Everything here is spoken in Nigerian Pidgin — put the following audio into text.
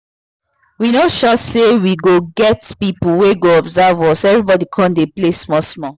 we no sure say we go get get people wey go observe us so everybody come dey play small small